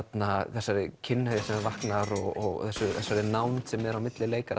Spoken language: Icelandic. þessari kynhneigð sem vaknar og þessari nánd sem er á milli leikara